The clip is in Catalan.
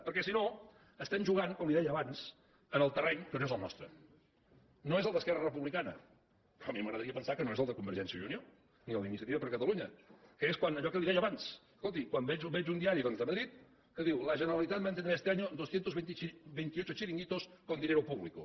perquè si no estem jugant com li deia abans en el terreny que no és el nostre no és el d’esquerra republicana a mi m’agradaria pensar que no és el de convergència i unió ni el d’iniciativa per catalunya que és allò que li deia abans escolti quan veig un diari doncs de madrid que diu la generalitat mantendrá este año dos cents i vint vuit chiringuitos con dinero público